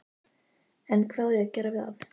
En hvað á ég að gera við hann?